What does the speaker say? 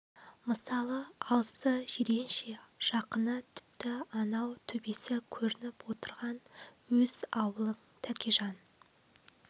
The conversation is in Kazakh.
мысалы алысы жиренше жақыны тіпті анау төбесі көрініп отырған өз аулың тәкежан